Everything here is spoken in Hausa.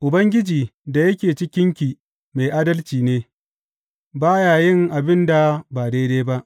Ubangiji da yake cikinki mai adalci ne; ba ya yin abin da ba daidai ba.